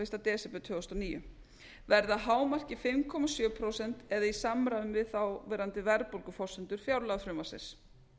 fyrsta desember tvö þúsund og níu verði að hámarki fimm komma sjö prósent eða í samræmi við þáverandi verðbólguforsendur fjárlagafrumvarpsins